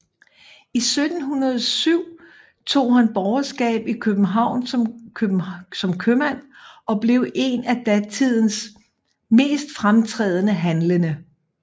I 1707 tog han borgerskab i København som købmand og blev en af datidens mest fremtrædende handlende